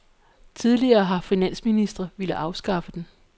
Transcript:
Tidligere har finansministre villet afskaffe den.